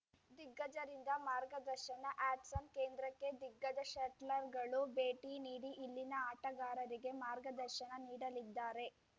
ದಿಗ್ಗಜರಿಂದ ಮಾರ್ಗದರ್ಶನ ಹ್ಯಾಟ್ಸನ್‌ ಕೇಂದ್ರಕ್ಕೆ ದಿಗ್ಗಜ ಶಟ್ಲರ್‌ಗಳು ಭೇಟಿ ನೀಡಿ ಇಲ್ಲಿನ ಆಟಗಾರರಿಗೆ ಮಾರ್ಗದರ್ಶನ ನೀಡಲಿದ್ದಾರೆ